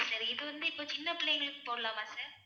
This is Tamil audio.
sir இது வந்து இப்ப சின்ன பிள்ளைங்களுக்கு போடலாமா sir